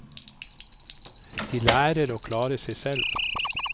De lærer å klare seg selv.